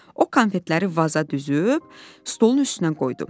O konfetləri vaza düzüb, stolun üstünə qoydu.